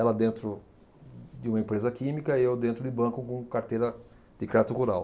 Ela dentro de uma empresa química e eu dentro de banco com carteira de crédito rural.